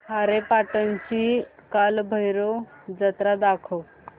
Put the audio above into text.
खारेपाटण ची कालभैरव जत्रा दाखवच